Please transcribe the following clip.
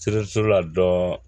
la dɔrɔn